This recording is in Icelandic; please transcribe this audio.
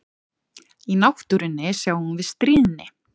Í náttúrunni sjáum við stríðni.